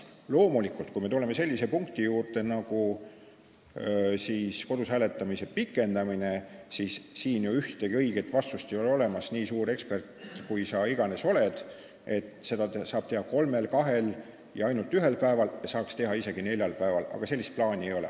Loomulikult, kui me tuleme sellise punkti juurde nagu kodus hääletamise aja pikendamine, siis ole sa nii suur ekspert, kui sa iganes oled, ega siin ühtegi õiget vastust ei ole, seda saab teha kolmel, kahel ja ainult ühel päeval, saaks teha isegi neljal päeval, aga sellist plaani ei ole.